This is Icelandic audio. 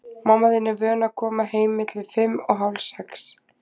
Mamma þín er vön að koma heim milli fimm og hálf sex.